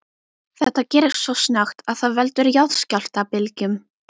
Þetta gerist svo snöggt að það veldur jarðskjálftabylgjum.